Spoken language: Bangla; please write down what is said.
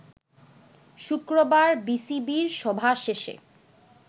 শুক্রবার বিসিবির সভা শেষে